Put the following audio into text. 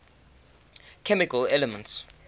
chemical elements